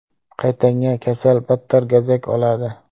Qaytanga kasal battar gazak oladi.